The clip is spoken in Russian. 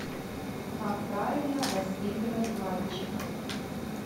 как правильно воспитывать мальчиков